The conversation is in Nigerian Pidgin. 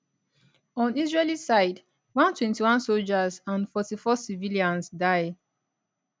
on israeli side 121 soldiers and 44 civilians die